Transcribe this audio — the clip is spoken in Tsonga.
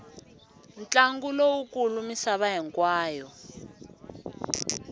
ntlangu lowu kulu misava hinkwayo